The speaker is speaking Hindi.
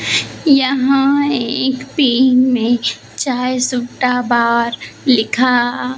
यहां एक पे इमेज चाय सुट्टा बार लिखा --